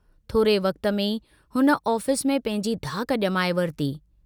थोरे वक्त में ई हुन ऑफिस में पंहिंजी धाक जमाए वरिती।